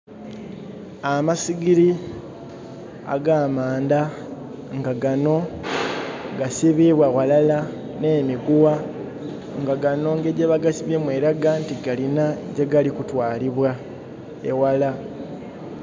Amasigiri ag'amandha nga gano gasibibwa ghalala n'emiguwa nga gano engeri gyebagasibyemu eraga nti galina gyegali kutwalibwa, eghala.